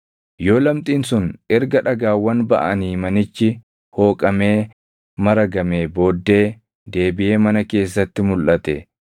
“Yoo lamxiin sun erga dhagaawwan baʼanii manichi hooqamee maragamee booddee deebiʼee mana keessatti mulʼate,